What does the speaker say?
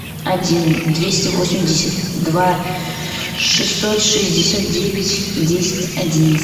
один двести восемьдесят два шестьсот шестьдесят девять десять одиннадцать